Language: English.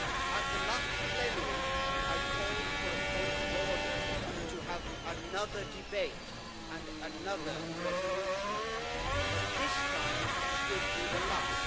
At the last plenary I called for a point of order to have another debate and another resolution, but this time should be the last.